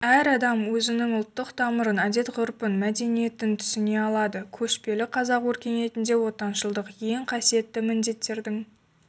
әр адам өзінің ұлттық тамырын әдет-ғұрпын мәдениетін түсіне алады көшпелі қазақ өркениетінде отаншылдық ең қасиетті міндеттердің